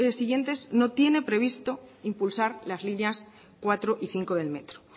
siguientes no tiene previsto impulsar las líneas cuatro y cinco del metro